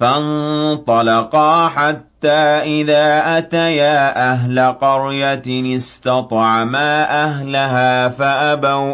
فَانطَلَقَا حَتَّىٰ إِذَا أَتَيَا أَهْلَ قَرْيَةٍ اسْتَطْعَمَا أَهْلَهَا فَأَبَوْا